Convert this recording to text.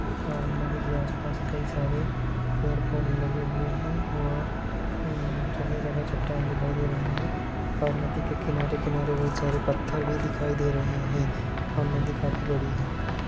और नदी के आसपास कई सारे पेड़ पौधे लगे हुए हैं और अ जगह-जगह चट्टान दिखाई दे रही है और नदी के किनारे-किनारे बहुत सारे पत्थर भी दिखाई दे रहे है और नदी काफी बड़ी है।